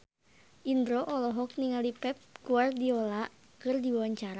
Indro olohok ningali Pep Guardiola keur diwawancara